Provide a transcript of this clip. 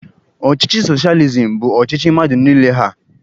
Ọchịchị soshializim bụ ọchịchị mmadụ niile ha.